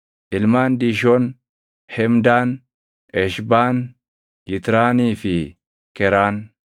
Ilmaan Diishoon: Hemdaan, Eshbaan, Yitraanii fi Keraan.